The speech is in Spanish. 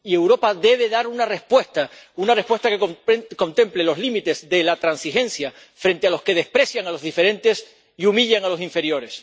Y Europa debe dar una respuesta, una respuesta que contemple los límites de la transigencia frente a los que desprecian a los diferentes y humillan a los inferiores.